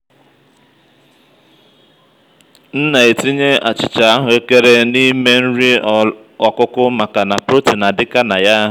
m na ètíyè achịcha ahụekere n'ime nri ọkụkụ maka na protein adịka naya.